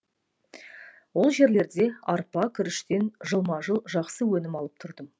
ол жерлерде арпа күріштен жылма жыл жақсы өнім алып тұрдым